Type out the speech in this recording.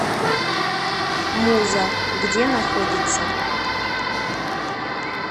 муза где находится